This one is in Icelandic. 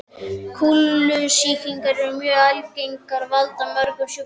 Kúlusýklar eru mjög algengir og valda mörgum sjúkdómum.